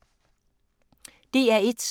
DR1